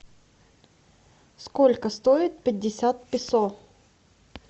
сколько стоит пятьдесят песо